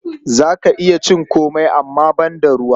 Za ka iya ƙin cin komai amma banda ruwa.